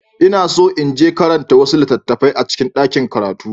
Ina so in je karanta wasu littattafai a cikin ɗakin karatu.